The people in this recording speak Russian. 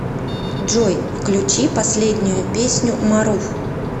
джой включи последнюю песню маруф